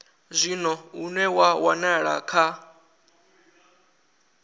zwino une wa wanala kha